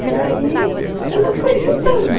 E aí ela foi juntando.